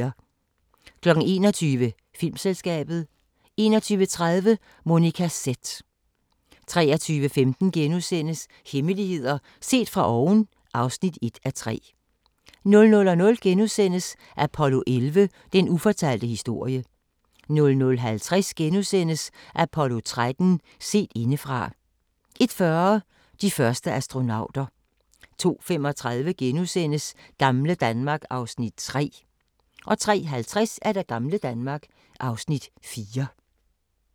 21:00: Filmselskabet 21:30: Monica Z 23:15: Hemmeligheder set fra oven (1:3)* 00:00: Apollo 11: Den ufortalte historie * 00:50: Apollo 13: Set indefra * 01:40: De første astronauter 02:35: Gamle Danmark (Afs. 3)* 03:50: Gamle Danmark (Afs. 4)